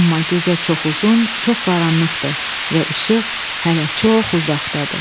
Amma gecə çox uzun, çox qaranlıqdır və işıq hələ çox uzaqdadır."